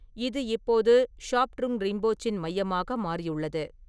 இது இப்போது ஷாப்ட்ருங் ரிம்போச்சின் மையமாக மாறியுள்ளது.